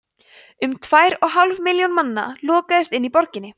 um tvær og hálf milljón manna lokaðist inni í borginni